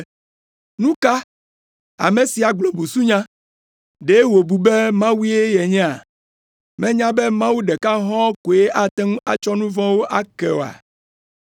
“Nu ka! Ame sia gblɔ busunya! Ɖe wòbu be Mawue yenyea? Menya be Mawu ɖeka hɔ̃ɔ koe ate ŋu atsɔ nu vɔ̃wo ake oa?”